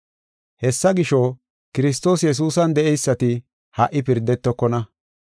Hessa gisho, Kiristoos Yesuusan de7eysati ha77i pirdetokona.